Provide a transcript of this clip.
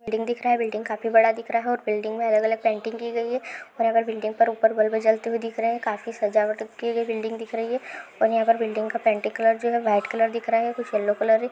Building दिख रहा है और बिल्डिंग काफी बड़ा दिख रहा है और बिल्डिंग में अलग-अलग पेंटिंग की गयी है और ऊपर बिल्डिंग पे बल्ब जलते हुये दिख रहे है काफी सजावट की हुई बिल्डिंग दिख रही है और यहाँ पर बिल्डिंग का पेंटिंग कलर व्हाइट दिख रहा है यल्लो कलर ।